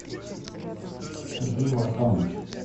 сергей вартанов